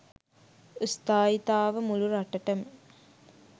ස්ථායීතාව මුළු රටටම